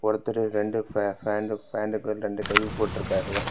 ஒருத்தர் ரெண்டு பேண்டு பேன்ட்டுக் ரெண்டு கை போட்ருக்காரு.